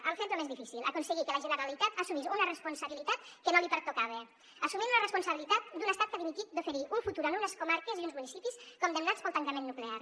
hem fet lo més difícil aconseguir que la generalitat assumís una responsabilitat que no li pertocava assumint una responsabilitat d’un estat que ha dimitit d’oferir un futur a unes comarques i uns municipis condemnats pel tancament nuclear